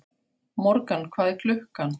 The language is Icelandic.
Morgan, hvað er klukkan?